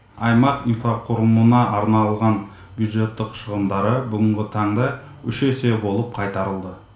аймақ инфрақұрылымына арналған бюджеттық шығындары бүгінгі таңда үш есе болып қайтарылды